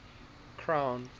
crown